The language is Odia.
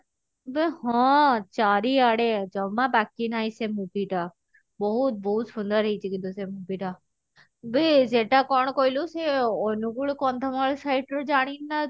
ବେ ହଁ ଚାରିଆଡେ ଜମା ବାକି ନାହିଁ ସେ movie ଟା ବହୁତ ବହୁତ ସୁନ୍ଦର ହେଇଛି କିନ୍ତୁ ସେ movie ଟା ବେ ସେଟା କଣ କହିଲୁ ସେ ଅନୁଗୁଳ କନ୍ଧମାଳ side ର ଜାଣିନୁ ନା ତୋ